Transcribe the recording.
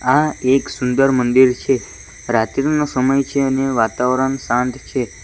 આ એક સુંદર મંદિર છે રાત્રિનો સમય છે અને વાતાવરણ શાંત છે.